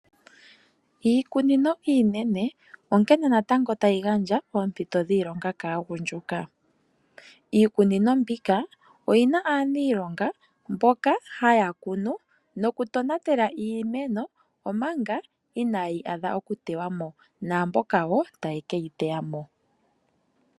Iikunino iinene onkene natango tayi gandja ompito dhiilonga kaagundjuka. Iikunino mbika oyi na aaniilonga mboka haya kunu nokutonatela iimeno, omanga inayi adha okutewa mo naamboka wo taya keyi teya mo.